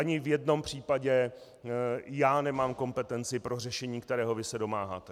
Ani v jednom případě já nemám kompetenci pro řešení, kterého vy se domáháte.